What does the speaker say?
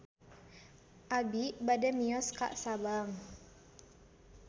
Abi bade mios ka Sabang